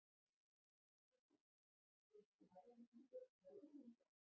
Fréttakona: Hefur þú talað við Ingibjörgu Sólrúnu um þetta?